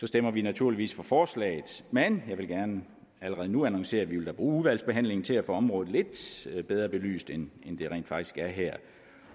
stemmer vi naturligvis for forslaget men jeg vil gerne allerede nu annoncere at vi da vil bruge udvalgsbehandlingen til at få området lidt bedre belyst end det er her